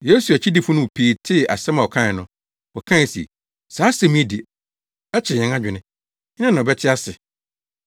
Yesu akyidifo no mu pii tee asɛm a ɔkae no, wɔkae se, “Saa asɛm yi de, ɛkyerɛ yɛn adwene. Hena na ɔbɛte ase?”